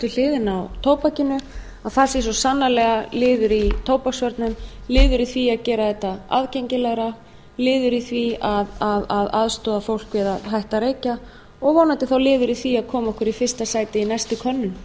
hliðina á tóbakinu að það sé svo sannarlega liður í tóbaksvörnum liður í því að gera þetta aðgengilegra liður í því að aðstoða fólk við að hætta að reykja og vonandi þá liður í því að koma okkur í fyrsta sæti í næstu könnun